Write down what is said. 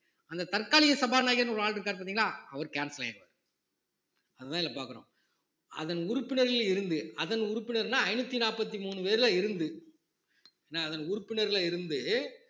அந்த தற்காலிக சபாநாயகர்ன்னு ஒரு ஆள் இருக்காரு பார்த்தீங்களா அவரு cancel ஆயிடுவாரு அதுதான் இதுல பார்க்கிறோம் அதன் உறுப்பினர்களில் இருந்து அதன் உறுப்பினர்னா ஐந்நூத்தி நாற்பத்தி மூணு பேர்ல இருந்து என்ன அதன் உறுப்பினர்ல இருந்து